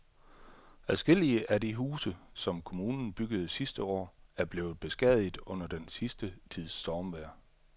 Adskillige af de huse, som kommunen byggede sidste år, er blevet beskadiget under den sidste tids stormvejr.